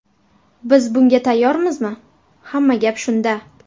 Biz bunga tayyormizmi, hamma gap shunda.